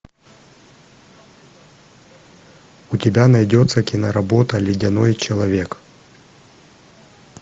у тебя найдется киноработа ледяной человек